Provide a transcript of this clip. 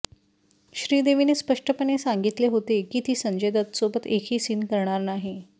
श्रीदेवीने स्पष्टपणे सांगितले होते की ती संजय दत्तसोबत एकही सीन करणार नाही